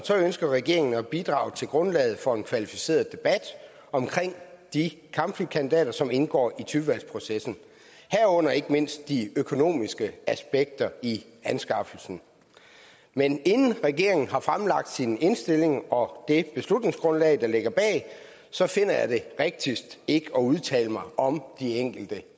ønsker regeringen at bidrage til grundlaget for en kvalificeret debat om de kampflykandidater som indgår i typevalgsprocessen herunder ikke mindst de økonomiske aspekter i anskaffelsen men inden regeringen har fremlagt sin indstilling og det beslutningsgrundlag der ligger bag så finder jeg det rigtigst ikke at udtale mig om de enkelte